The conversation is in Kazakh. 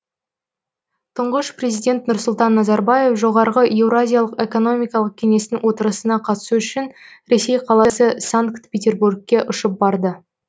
тұңғыш президент нұрсұлтан назарбаев жоғарғы еуразиялық экономикалық кеңестің отырысына қатысу үшін ресей қаласы санкт петербургке ұшып барды